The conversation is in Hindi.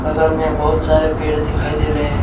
बगल में बहुत सारे पेड़ दिखाई दे रहे है।